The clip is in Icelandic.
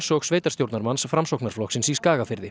og sveitarstjórnarmanns Framsóknarflokksins í Skagafirði